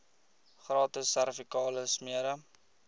gratis servikale smere